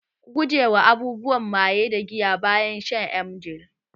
Ku gujewa abubuwan maye da giya bayan shan emgil